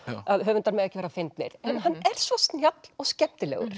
að höfundar mega ekki vera fyndnir en hann er svo snjall og skemmtilegur